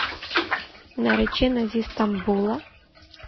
наречена зи стамбула